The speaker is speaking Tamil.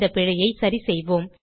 இந்த பிழையை சரிசெய்வோம்